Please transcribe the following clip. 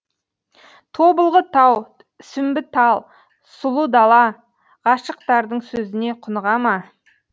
тобылғы тау сүмбі тал сұлы дала ғашықтардың сөзіне құныға ма